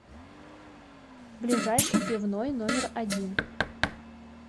ближайший пивной номер один